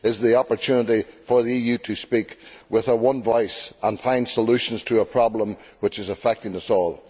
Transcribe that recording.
It is the opportunity for the EU to speak with one voice and find solutions to a problem which is affecting us all.